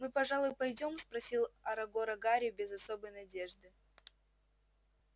мы пожалуй пойдём спросил арагога гарри без особой надежды